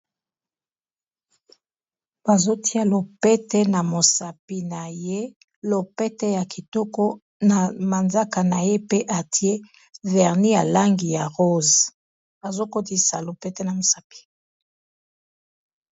Bazotia lopete na mosapi na ye lopete ya kitoko na manzaka na ye pe atier verni ya langi ya rose azokotisa lopete na mosapi